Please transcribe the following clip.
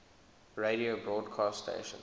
radio broadcast stations